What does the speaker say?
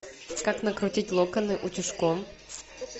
как накрутить локоны утюжком